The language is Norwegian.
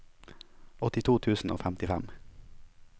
åttito tusen og femtifem